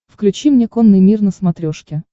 включи мне конный мир на смотрешке